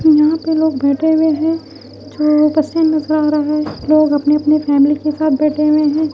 यहां पे लोग बैठे हुए हैं जो बसे नजर आ रहा है लोग अपने-अपने फैमिली के साथ बैठे हुए हैं।